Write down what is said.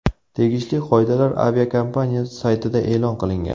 Tegishli qoidalar aviakompaniya saytida e’lon qilingan.